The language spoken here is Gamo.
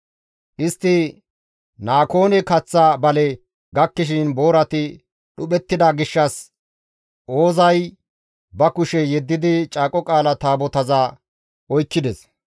Istti Nakoone kaththa bale gakkishin boorati dhuphettida gishshas Oozay ba kushe yeddidi Caaqo Qaala Taabotaza oykkides.